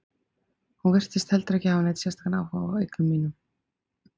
Hún virtist heldur ekki hafa neinn sérstakan áhuga á eigum mínum.